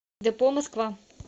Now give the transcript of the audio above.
депо москва